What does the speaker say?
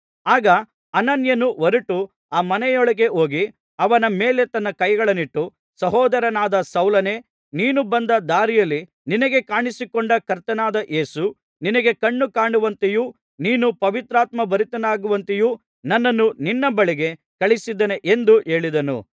ಆಗ ಅನನೀಯನು ಹೊರಟು ಆ ಮನೆಯೊಳಗೆ ಹೋಗಿ ಅವನ ಮೇಲೆ ತನ್ನ ಕೈಗಳನ್ನಿಟ್ಟು ಸಹೋದರನಾದ ಸೌಲನೇ ನೀನು ಬಂದ ದಾರಿಯಲ್ಲಿ ನಿನಗೆ ಕಾಣಿಸಿಕೊಂಡ ಕರ್ತನಾದ ಯೇಸು ನಿನಗೆ ಕಣ್ಣು ಕಾಣುವಂತೆಯೂ ನೀನು ಪವಿತ್ರಾತ್ಮಭರಿತನಾಗುವಂತೆಯೂ ನನ್ನನ್ನು ನಿನ್ನ ಬಳಿಗೆ ಕಳುಹಿಸಿದ್ದಾನೆ ಎಂದು ಹೇಳಿದನು